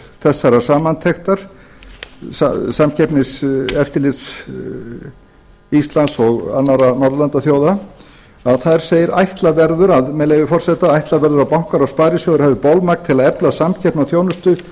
þessarar samantektar samkeppniseftirlits íslands og annarra norðurlandaþjóða segir með leyfi forseta ætla verður að bankar og sparisjóðir hafi bolmagn til að efla samkeppni og þjónustu